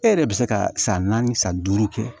E yɛrɛ bɛ se ka san naani san duuru kɛ